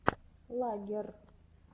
лаггер